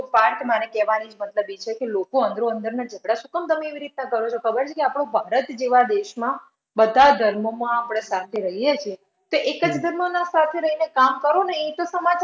વાત મારે કહેવાની મતલબ ઈ છે કે લોકો અંદરો અંદર ના ઝગડા શું કામ તમે એવી રીતના કરો છો? ખબર છે કે આ ઓ ભારત જેવા દેશમાં બધા ધર્મોમાં આપડે સાથે રહીયે છે. તો એક જ ધર્મના સાથે રઈને કામ કરો ને. એક જ તો માત્ર